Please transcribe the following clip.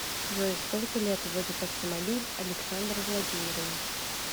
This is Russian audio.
джой сколько лет водит автомобиль александр владимирович